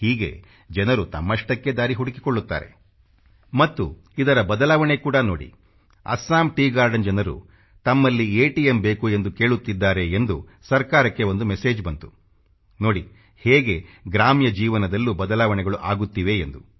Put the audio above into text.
ಹೀಗೆ ಜನರು ತಮ್ಮಷ್ಟಕ್ಕೇ ದಾರಿ ಹುಡುಕಿಕೊಳ್ಳುತ್ತಾರೆ ಮತ್ತು ಇದರ ಬದಲಾವಣೆ ಕೂಡ ನೋಡಿ ಅಸ್ಸಾಂ ಟೀ ಗಾರ್ಡನ್ ಜನರು ತಮ್ಮಲ್ಲಿ ಎ ಟಿ ಎಂ ಬೇಕು ಎಂದು ಕೇಳುತ್ತಿದ್ದಾರೆ ಎಂದು ಸರ್ಕಾರಕ್ಕೆ ಒಂದು ಮೆಸೇಜ್ ಬಂತುನೋಡಿ ಹೇಗೆ ಗ್ರಾಮ್ಯ ಜೀವನದಲ್ಲೂ ಬದಲಾವಣೆಗಳು ಆಗುತ್ತಿವೆ ಎಂದು